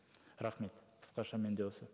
рахмет қысқаша менде осы